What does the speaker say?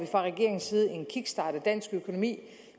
dansk økonomi